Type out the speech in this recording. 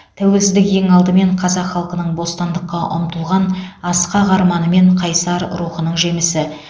тәуелсіздік ең алдымен қазақ халқының бостандыққа ұмтылған асқақ арманы мен қайсар рухының жемісі